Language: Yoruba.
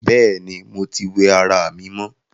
Bẹ́ẹ̀ni, mo tí wẹ ará mi mọ